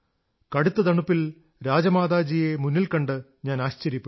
കടുത്ത തണുപ്പിൽ രാജമാതാജിയെ മുന്നിൽ കണ്ട് ഞാൻ ആശ്ചര്യപ്പെട്ടു